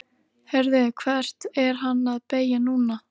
Heyrðu. hvert er hann að beygja núna?